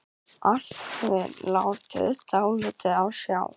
Allt hafði látið dálítið á sjá.